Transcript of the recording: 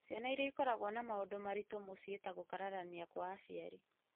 Ciana iria ikoragwo na maũndũ maritũ mũciĩ ta gũkararania kwa aciari,